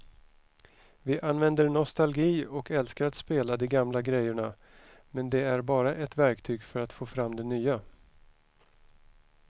Vi använder nostalgi och älskar att spela de gamla grejerna men det är bara ett verktyg för att få fram det nya.